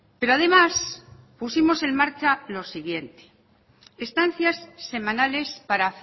pero además pusimos en marcha lo siguiente estancias semanales para